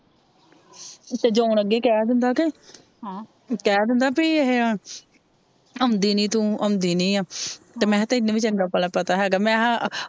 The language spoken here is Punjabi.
ਤੇ ਜੋਨ ਅੱਗੇ ਕਿਹ ਦਿੰਦਾ ਕੇ ਕਹਿ ਦਿੰਦਾ ਭੇਈ ਏਹੇ ਆਉਦੀ ਨੀ ਤੂ ਆਉਂਦੀ ਨੀ ਤੇ ਮੇਹੇਆ ਤੈਨੂੰ ਵੀ ਚੰਗਾ ਭਲਾ ਪਤਾ ਹੈਗਾ,